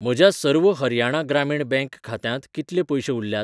म्हज्या सर्व हरियाणा ग्रामीण बँक खात्यांत कितले पयशे उरल्यात?